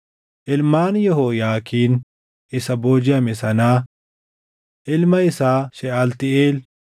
Ilmaan Yehooyaakiin isa boojiʼame sanaa: Ilma isaa Sheʼaltiiʼeel,